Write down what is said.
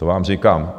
To vám říkám.